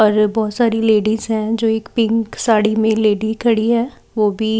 और बहुत सारी लेडिस है जो एक पिंक साड़ी में लेडी खड़ी है वो भी--